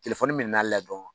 Telefɔni minɛnna ale la dɔrɔn